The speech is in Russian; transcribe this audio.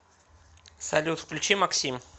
салют включи максим